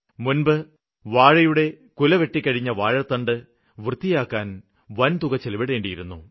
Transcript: മുന്പ് വാഴയുടെ കുല വെട്ടിക്കഴിഞ്ഞ വാഴത്തണ്ട് വൃത്തിയാക്കാന് വന്തുക ചിലവിടേണ്ടിയിരുന്നു